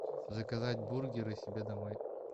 заказать бургеры себе домой